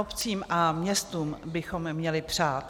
Obcím a městům bychom měli přát.